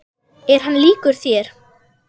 Er hann líkur þér?